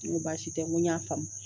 N ko baasi tɛ n ko n y'a faamu